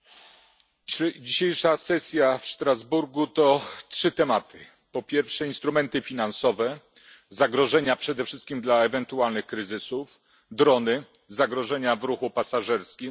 Panie Przewodniczący! Dzisiejsza sesja w Strasburgu to trzy tematy po pierwsze instrumenty finansowe, zagrożenia przede wszystkim dla ewentualnych kryzysów, drony, zagrożenia w ruchu pasażerskim